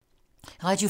Radio 4